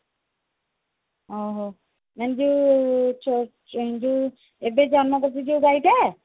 ଅ ହଉ ମାନେ ଯୋଉ ଚ ଚନ୍ଦୁ ଏବେ ଜନ୍ମ କରିଛି ଯୋଉ ଗାଈ ଟା